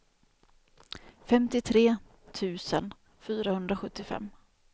femtiotre tusen fyrahundrasjuttiofem